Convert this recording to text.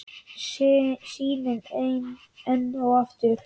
Sýnin enn og aftur.